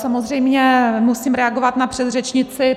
Samozřejmě musím reagovat na předřečnici.